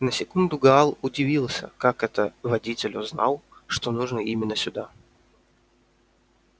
на секунду гаал удивился как это водитель узнал что нужно именно сюда